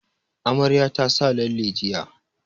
Amaryar ta sa lalle jiya